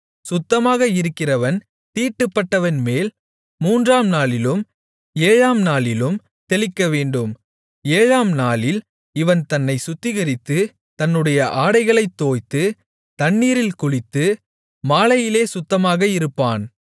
சுத்தமாக இருக்கிறவன் தீட்டுப்பட்டவன்மேல் மூன்றாம் நாளிலும் ஏழாம் நாளிலும் தெளிக்கவேண்டும் ஏழாம் நாளில் இவன் தன்னைச் சுத்திகரித்து தன்னுடைய ஆடைகளைத் தோய்த்து தண்ணீரில் குளித்து மாலையிலே சுத்தமாக இருப்பான்